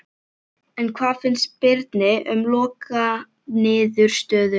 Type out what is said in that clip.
En hvað fannst Birni um lokaniðurstöðuna?